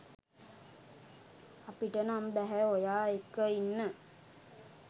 අපිට නම් බැහැ ඔයා එක්ක ඉන්න.